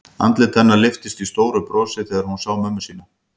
Andlit hennar lyftist í stóru brosi þegar hún sá mömmu sína.